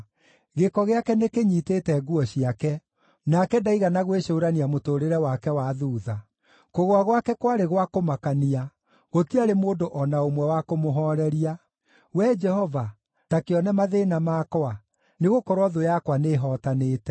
Gĩko gĩake nĩkĩnyiitĩte nguo ciake; nake ndaigana gwĩcũũrania mũtũũrĩre wake wa thuutha. Kũgũa gwake kwarĩ gwa kũmakania; gũtiarĩ mũndũ o na ũmwe wa kũmũhooreria. “Wee Jehova, ta kĩone mathĩĩna makwa, nĩgũkorwo thũ yakwa nĩhootanĩte.”